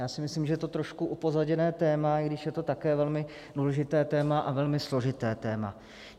Já si myslím, že je to trošku upozaděné téma, i když je to také velmi důležité téma a velmi složité téma.